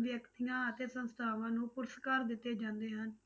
ਵਿਅਕਤੀਆਂ ਅਤੇ ਸੰਸਥਾਵਾਂ ਨੂੰ ਪੁਰਸ਼ਕਾਰ ਦਿੱਤੇ ਜਾਂਦੇ ਹਨ।